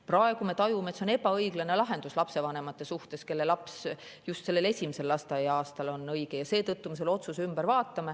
Praegu me tajume, et see on ebaõiglane lahendus lapsevanemate suhtes, kelle laps just esimesel lasteaia-aastal on haige, ja seetõttu me teeme selle otsuse ümber.